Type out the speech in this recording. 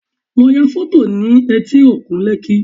Lọ ya fọ́tò nih etí òkun Lekki